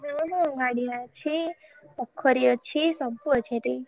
ହଁ ହଁ ଗାଡିଆ ଅଛି ପୋଖରୀ ଅଛି ସବୁ ଅଛି ଏଠି।